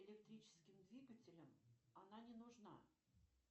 электрическим двигателям она не нужна